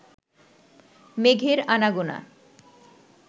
মেঘের আনাগোনা